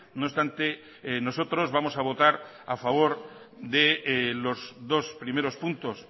no obstante nosotros vamos a votar a favor de los dos primeros puntos